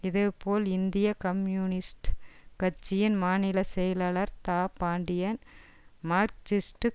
இதேபோல் இந்திய கம்யூனிஸ்ட் கட்சியின் மாநில செயலாளர் தா பாண்டியன் மார்க்சிஸ்டு